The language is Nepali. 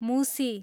मुसी